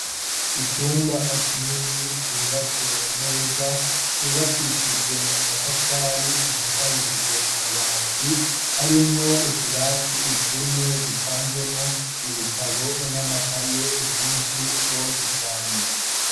Icumba kinini icubatse neza cubakishijwe amatafari gisakarishijwe amabati harimwo utubati itune dupanzemwo ibitabo n'amakaye vyinshi bwose cane.